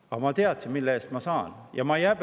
Aga ma teadsin, mille eest ma sain.